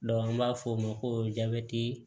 an b'a fɔ o ma ko jabɛti